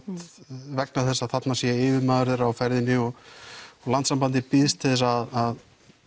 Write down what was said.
vegna þess að þarna sé yfirmaður þeirra á ferðinni og Landssambandið býðst til þess að